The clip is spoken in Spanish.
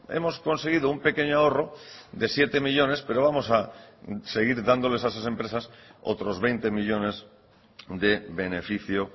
hemos conseguido un pequeño ahorro de siete millónes pero vamos a seguir dándoles a esas empresas otros veinte millónes de beneficio